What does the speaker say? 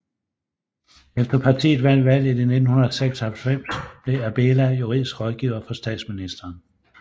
Efter partiet vandt valget i 1996 blev Abela juridisk rådgiver for statsministeren